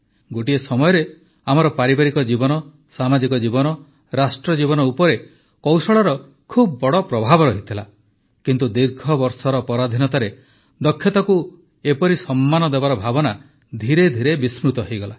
ଗୋଟିଏ ସମୟରେ ଆମର ପାରିବାରିକ ଜୀବନ ସାମାଜିକ ଜୀବନ ରାଷ୍ଟ୍ର ଜୀବନ ଉପରେ କୌଶଳର ବହୁତ ବଡ଼ ପ୍ରଭାବ ରହିଥିଲା କିନ୍ତୁ ଦୀର୍ଘବର୍ଷର ପରାଧିନତାରେ ଦକ୍ଷତାକୁ ଏହିପରି ସମ୍ମାନ ଦେବାର ଭାବନା ଧୀରେ ଧୀରେ ବିସ୍ମୃତ ହୋଇଗଲା